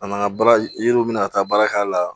A nana baara yiriw minɛ ka taa baara k'a la